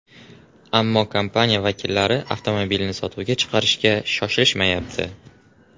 Ammo kompaniya vakillari avtomobilni sotuvga chiqarishga shoshilishmayapti.